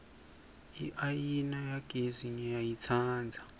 iayina yagesi ngiyayitsandza